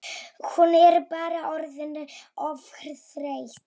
Hún bara orðin of þreytt.